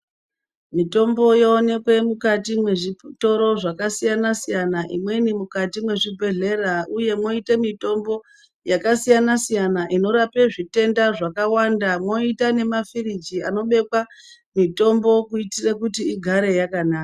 Mutombo yoonekwa mukati mwezvitoro zvakasiyana siyana, imweni mukati mwezvi bhedlera, uye mwoite mutombo yakasiyana siyana inorape zvitenda zvakawanda. Mwoita nemafiriji anobekwa mitombo kuti igare yakanaka.